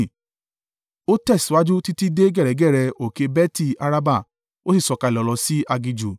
Ó tẹ̀síwájú títí dé gẹ̀rẹ́gẹ̀rẹ́ òkè Beti-Araba, ó sì sọ̀kalẹ̀ lọ sí aginjù.